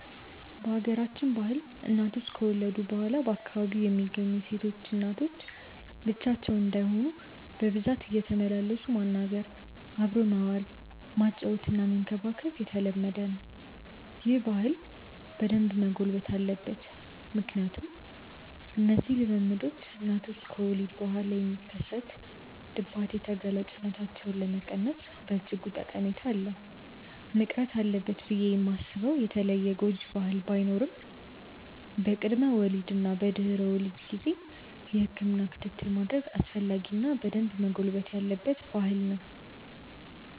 በሀገራችን ባህል እናቶች ከወለዱ በኋላ በአካባቢው የሚገኙ ሴቶች እናቶች ብቻቸውን እንዳይሆኑ በብዛት እየተመላለሱ ማናገር፣ አብሮ መዋል፣ ማጫወትና መንከባከብ የተለመደ ነው። ይህ ባህል በደንብ መጎልበት አለበት ምክንያቱም እነዚህ ልምምዶች እናቶች ከወሊድ በኋላ የሚከሰት ድባቴ ተጋላጭነታቸውን ለመቀነስ በእጅጉ ጠቀሜታ አለው። መቅረት አለበት ብዬ ማስበው የተለየ ጎጂ ባህል ባይኖርም በቅድመ ወሊድ እና በድህረ ወሊድ ጊዜ የህክምና ክትትል ማድረግ አስፈላጊ እና በደንብ መጎልበት ያለበት ባህል ነው።